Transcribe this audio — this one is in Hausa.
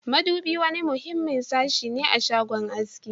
Madubi wani muhimmin sashi ne a shagon aski